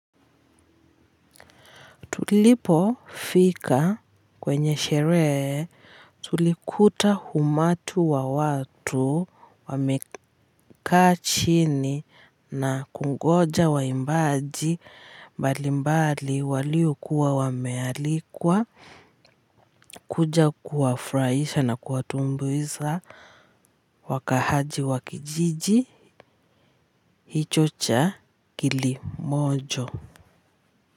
Tulipo fika kwenye sherehe tulikuta umati wa watu wamekaa chini na kungoja waimbaji mbali mbali waliokuwa wamealikwa kuja kuwafurahisha na kuwatumbuiza wakaaji wa kijiji hicho cha kilimojo.